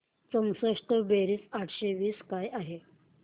चौसष्ट बेरीज आठशे वीस काय आहे